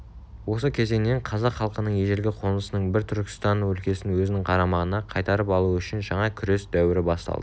осы кезеңнен қазақ халқының ежелгі қонысының бірі түркістан өлкесін өзінің қарамағына қайтарып алуы үшін жаңа күрес дәуірі басталды